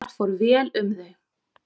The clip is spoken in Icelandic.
Þar fór vel um þau.